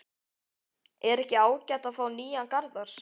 Er ekki ágætt að fá nýjan Garðar?